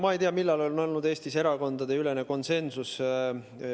Ma ei tea, millal on olnud Eestis erakondadeülene konsensus.